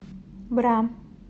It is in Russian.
бра